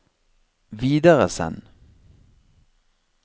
videresend